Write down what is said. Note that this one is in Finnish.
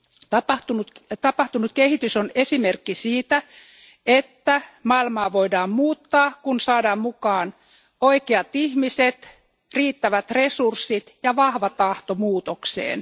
Tapahtunut kehitys on esimerkki siitä, että maailmaa voidaan muuttaa, kun saadaan mukaan oikeat ihmiset, riittävät resurssit ja vahva tahto muutokseen.